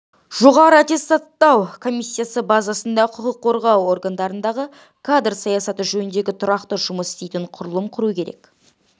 жоғары аттестаттау комиссиясы базасында құқық қорғау органдарындағы кадр саясаты жөніндегі тұрақты жұмыс істейтін құрылым құру керек